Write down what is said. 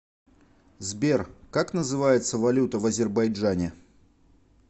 сбер как называется валюта в азербайджане